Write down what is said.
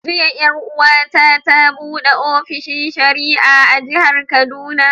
Jiya 'yar'uwa ta ta buɗe ofishin shari'a a Jihar Kaduna.